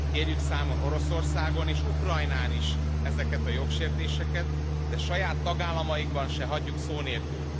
Kérjük számon Oroszországon és Ukrajnán is ezeket a jogsértéseket, de saját tagállamaikban se hagyjuk szó nélkül.